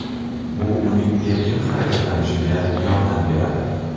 Bu uning erkin harakatlanishiga yordam beradi.